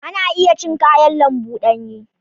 Ana iya cin kayan lambu danye.